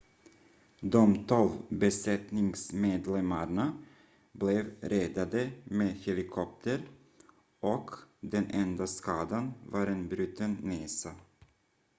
de tolv besättningsmedlemmarna blev räddade med helikopter och den enda skadan var en bruten näsa